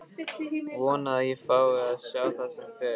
Vona að ég fái að sjá það sem fyrst.